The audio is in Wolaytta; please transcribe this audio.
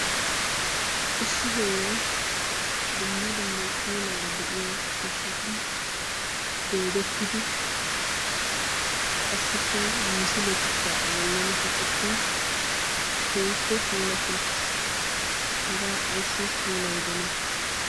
Issi heeray dumma dumma puulaara de'iya ciishshatun doodettidi qassikka misiletikka A bollan kaqettin keehippe puulatti uttiis. Hagaa ayssi puulayidonaa?